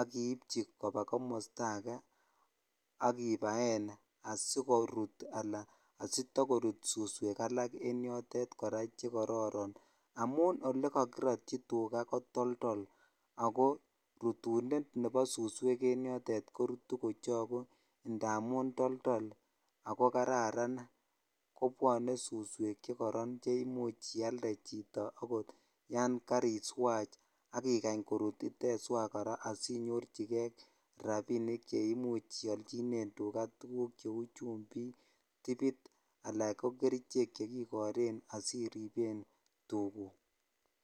ak iibchi kobaa komosto akee ak ibaen asikorut alaa asitokorut suswek alak en yotet chekororon amun elekokirotyi tukaa ko toldol ak ko rutunet nebo suswek en yotet korutu kochoku ndamun toldol ak ko kararan kobwone suswek chekoron cheimuch ialde chito okot yoon kariswach ak ikany korut iteswach kora asinyorchike rabinik cheimuch iolchinen tukaa tukuk cheuu chumbik, tibit alaa ko kerichek chekikoren asiriben tukuk.